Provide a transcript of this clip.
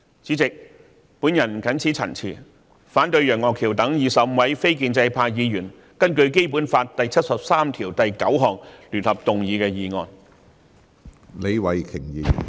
主席，我謹此陳辭，反對楊岳橋議員等25位非建制派議員根據《基本法》第七十三條第九項聯合動議的議案。